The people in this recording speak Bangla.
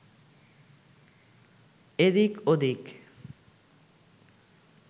এদিক ওদিক